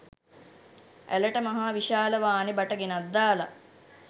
ඇළට මහ විශාල වානෙ බට ගෙනත් දාලා